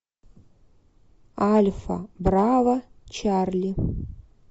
альфа браво чарли